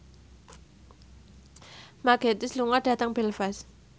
Mark Gatiss lunga dhateng Belfast